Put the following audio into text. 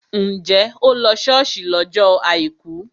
Njẹ́ o lọ ṣọ́ọ̀ṣì lọ́jọ́ àìkú?